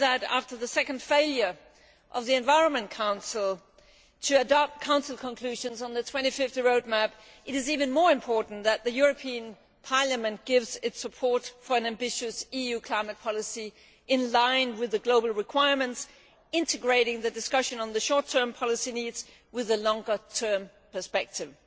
After the second failure of the Environment Council to adopt Council conclusions on the 2050 Roadmap, it is even more important that the European Parliament gives its support to an ambitious EU climate policy in line with the global requirements, integrating the discussion on the short term policy needs with the longer term perspective.